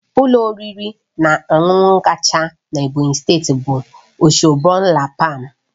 Ụlọ oriri na ọṅụṅụ kacha na Ebonyi steeti bụ Osborne la palm